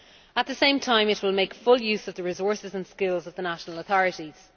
At the same time it will make full use of the resources and skills of the national authorities.